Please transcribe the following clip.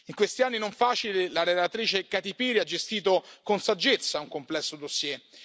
In questi anni non facili, la relatrice Kati Piri ha gestito con saggezza un complesso dossier.